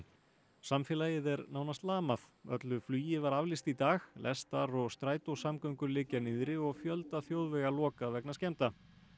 samfélagið er nánast lamað öllu flugi var aflýst í dag lestar og liggja niðri og fjölda þjóðvega lokað vegna skemmda